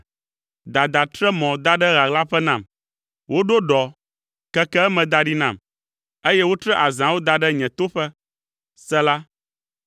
Dada tre mɔ da ɖe ɣaɣlaƒe nam, woɖo ɖɔ, keke eme da ɖi nam eye wotre azãwo da ɖe nye toƒe. Sela